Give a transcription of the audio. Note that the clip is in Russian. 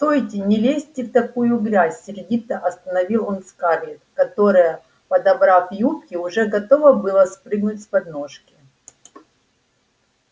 стойте не лезьте в такую грязь сердито остановил он скарлетт которая подобрав юбки уже готова была спрыгнуть с подножки